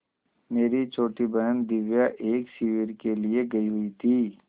मेरी छोटी बहन दिव्या एक शिविर के लिए गयी हुई थी